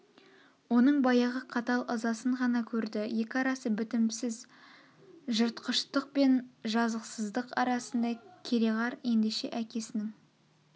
оның баяғы қатал ызасын ғана көрді екі арасы бітімсіз жыртқыштық пен жазықсыздық арасындай кереғар ендеше әкесінің